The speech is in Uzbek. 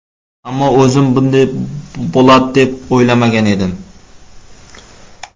Ammo o‘zim bunday bo‘ladi deb o‘ylamagan edim”.